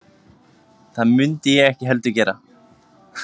Það mundi ég ekki heldur gera